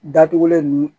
Datugulen ninnu